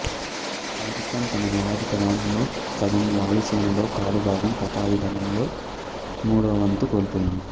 పాకిస్తాన్ తన నావికాదళంలో సగం వాయుసేనలో కాలు భాగం పదాతిదళంలో మూడోవంతు కోల్పోయింది